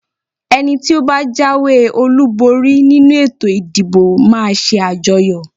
Ẹni tí ó bá jáwé-olúborí nínú ètò ìdìbò máa ṣe àjọyọ̀.